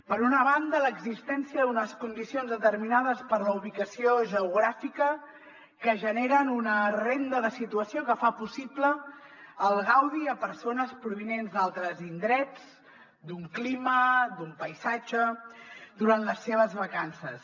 per una banda l’existència d’unes condicions determinades per la ubicació geogràfica que generen una renda de situació que fa possible el gaudi a persones provinents d’altres indrets d’un clima d’un paisatge durant les seves vacances